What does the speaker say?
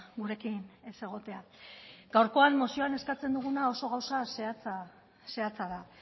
gurekin ez egotea gaurkoan mozian eskatzen duguna oso gauza zehatza zehatza da